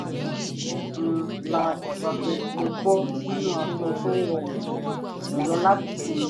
um slash bracket mo bọ sinu aso to rọrun julọ lati sinmi